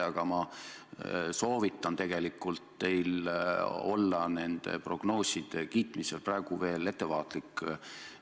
Aga ma soovitan teil nende prognooside kiitmisel praegu veel ettevaatlik olla.